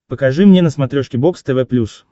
покажи мне на смотрешке бокс тв плюс